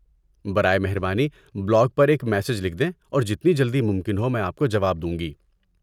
برائے مہربانی بلاگ پر ایک میسج لکھ دیں اور جتنی جلدی ممکن ہو میں آپ کو جواب دوں گی۔